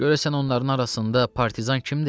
Görəsən onların arasında partizan kimdir?